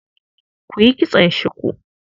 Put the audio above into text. Ku yi kitson shuku.